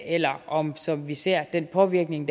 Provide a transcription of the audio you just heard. eller om det som vi ser er en påvirkning